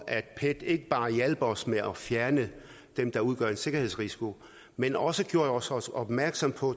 at pet ikke bare hjalp os med at fjerne dem der udgjorde en sikkerhedsrisiko men også gjorde os os opmærksom på